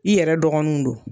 I yɛrɛ dɔgɔninw don.